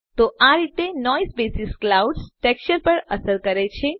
તો આ રીતે નોઇઝ બેસિસ ક્લાઉડ ટેક્સચર પર અસર કરે છે